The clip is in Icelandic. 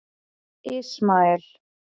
Ismael